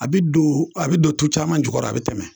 A bɛ don , a bɛ don tu caman jukɔrɔ, a bɛ tɛmɛ.